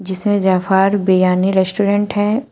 जिसमें जफार बिरियानी रेस्टोरेंट है।